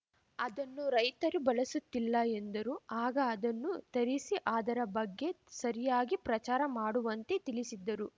ಅದನ್ನು ರೈತರು ಬಳಸುತ್ತಿಲ್ಲ ಎಂದರು ಆಗ ಅದನ್ನು ತರಿಸಿ ಅದರ ಬಗ್ಗೆ ಸರಿಯಾಗಿ ಪ್ರಚಾರ ಮಾಡುವಂತೆ ತಿಳಿಸಿದ್ದರು